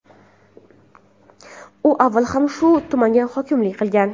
U avval ham shu tumanga hokimlik qilgan.